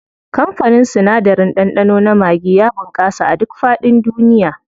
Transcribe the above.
Kamfanin sinadarin ɗanɗano na maggi ya bunƙasa a duk faɗin duniya.